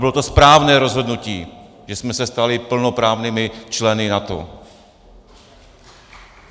Bylo to správné rozhodnutí, že jsme se stali plnoprávnými členy NATO.